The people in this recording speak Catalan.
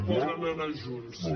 poden anar junts sí